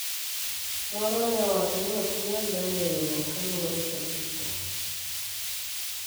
moro ne owacho ni ok onyal donjo e riwruok kaluwore kod hike